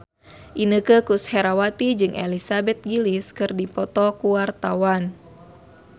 Inneke Koesherawati jeung Elizabeth Gillies keur dipoto ku wartawan